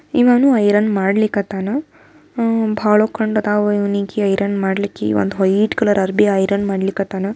ಇವನು ಐರನ್ ಮಾಡಿಲಿಕ್ಹಥನ ಹಮ್ ಬಹಳ ಕಂಡದವು ಇವ್ನನಿಗಿ ಐರನ್ ಮಾಡಲಿಕ್ಕೆ ಒಂದು ವೈಟ್ ಕಲರ್ ಅರ್ಬಿ ಐರನ್ ಮಾಡಲಿಕ್ಹಥನ.